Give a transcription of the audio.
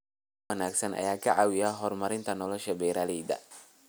Dalagyo wanaagsan ayaa ka caawiya horumarinta nolosha beeralayda.